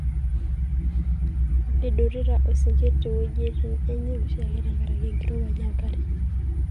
idurita esingir to weujitin enye oshiake tenkaraki enkirowuaj enkare.